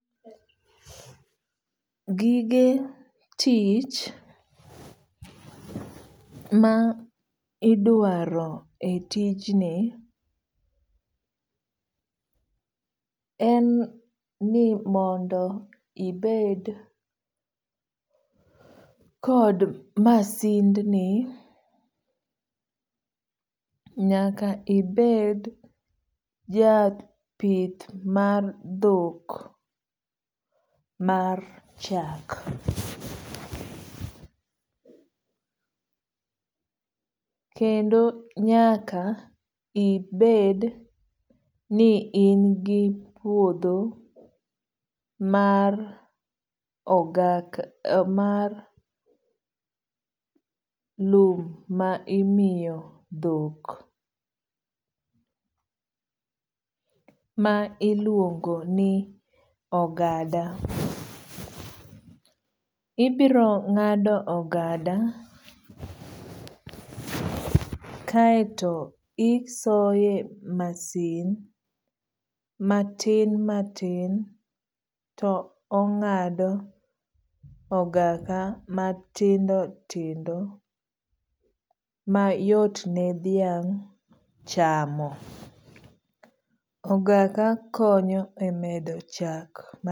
Gige tich ma idwaro e tij ni en ni mondo ibed kod masind ni. Nyaka ibed ja pith mar dhok mar chak. Kendo nyaka ibed ni in gi puodho mar lum ma imiyo dhok ma iluongo ni ogada. Ibiro ng'ado ogada kaeto isoye masin matin matiin to ongh'ado ogada matindo tindo mayot ne dhiak chamo. Ogada konyo e medo chak.